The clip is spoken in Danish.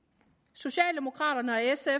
socialdemokraterne og sf